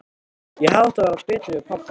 Ég hefði átt að vera betri við hann pabba.